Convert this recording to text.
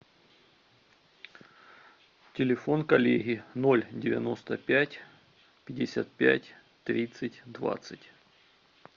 телефон коллеги ноль девяносто пять пятьдесят пять тридцать двадцать